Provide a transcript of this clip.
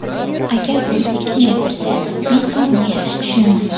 Agar u sekin gapirsa, men ham uni yaxshi tushunaman.